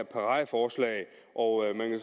paradeforslag og